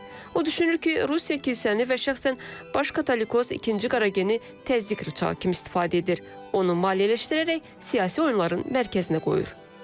O düşünür ki, Rusiya kilsəni və şəxsən baş katolikoz ikinci Qarageni təzyiq rıçağı kimi istifadə edir, onu maliyyələşdirərək siyasi oyunların mərkəzinə qoyur.